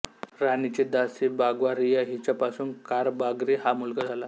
राणीची दासी बाग्वारीया हिच्यापासून कारबागरी हा मुलगा झाला